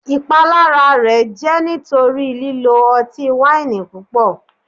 Ipalara rẹ jẹ nitori lilo ọti-waini pupọ